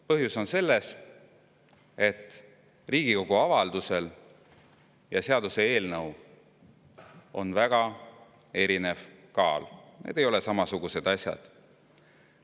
Põhjus on selles, et Riigikogu avaldusel ja seaduseelnõul on väga erinev kaal, need ei ole samasugused asjad.